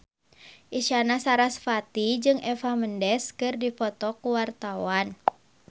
Isyana Sarasvati jeung Eva Mendes keur dipoto ku wartawan